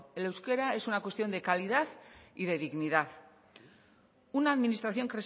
el euskera es una cuestión de calidad y de dignidad una administración